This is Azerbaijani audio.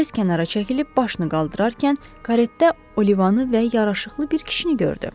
Tez kənara çəkilib başını qaldırarkən karetə Olivanı və yaraşıqlı bir kişini gördü.